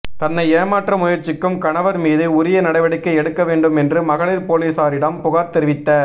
தன்னை ஏமாற்ற முயற்சிக்கும் கணவர் மீது உரிய நடவடிக்கை எடுக்க வேண்டும் என்று மகளிர் போலீசாரிடம் புகார் தெரிவித்த